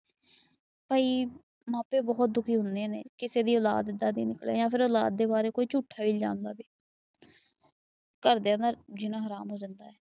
ਕਈ ਮਾਪੇ ਬਹੁਤ ਦੁਖੀ ਹੁੰਦੇ ਨੇ। ਕਿਸੇ ਦੀ ਔਲਾਦ ਦੀ ਏਦਾਂ ਨਿਕਲਿਆ। ਫਿਰ ਉਹ ਔਲਾਦ ਦੇ ਬਾਰੇ ਝੂਠਾ ਇਲਜ਼ਾਮ ਲਾਵੇ। ਘਰ ਦੀਆ ਦਾ ਜੀਣਾ ਹਰਾਮ ਹੋ ਜਾਂਦਾ।